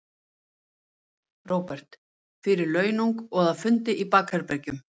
Róbert: Fyrir launung og að, fundi í bakherbergjum?